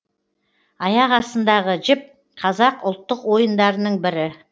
аяқ астындағы жіп қазақ ұлттық ойындарының бірі